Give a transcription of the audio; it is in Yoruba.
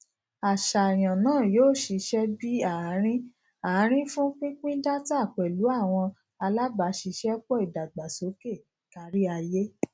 aṣayan naa yoo ṣiṣẹ bi aarin aarin fun pinpin data pẹlu awọn alabaṣiṣẹpọ idagbasoke kariaye